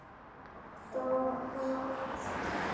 Fólk dó og allt.